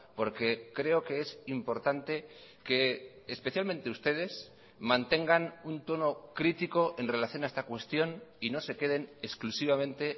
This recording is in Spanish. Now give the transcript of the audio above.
porque creo que es importante que especialmente ustedes mantengan un tono crítico en relación a esta cuestión y no se queden exclusivamente